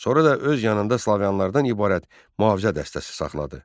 Sonra da öz yanında Slaviyalılarədən ibarət mühafizə dəstəsi saxladı.